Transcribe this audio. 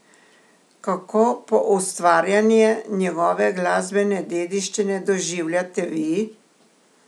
Kako poustvarjanje njegove glasbene dediščine doživljate vi?